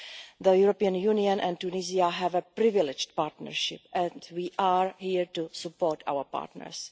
The European Union and Tunisia have a privileged partnership and we are here to support our partners.